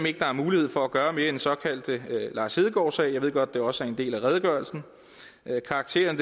ikke er mulighed for at gøre mere i den såkaldte lars hedegaard sag jeg ved godt at det også er en del af redegørelsen karakteren